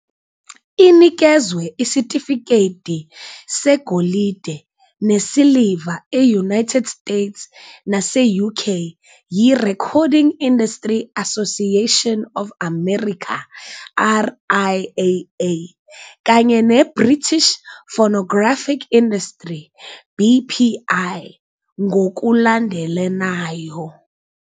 Inikezwe isitifiketi segolide nesiliva e-United States nase-UK yiRecording Industry Association of America, RIAA, kanye neBritish Phonographic Industry, BPI, ngokulandelanayo.